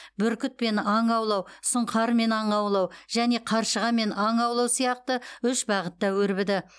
бүркітпен аң аулау сұңқармен аң аулау және қаршығамен аң аулау сияқты үш бағытта өрбіді